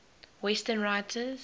western writers